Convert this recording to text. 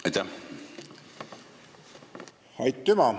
Aitüma!